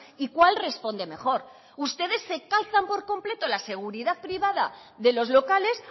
y cuál responde mejor ustedes se calzan por completo las seguridad privada de los locales